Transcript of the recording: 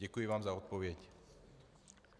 Děkuji vám za odpověď.